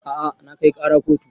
A'a na kai ƙara kotu